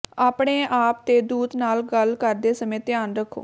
ਆਪਣੇ ਆਪ ਤੇ ਦੂਤ ਨਾਲ ਗੱਲ ਕਰਦੇ ਸਮੇਂ ਧਿਆਨ ਰੱਖੋ